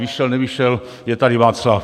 Vyšel, nevyšel - je tady, Václav.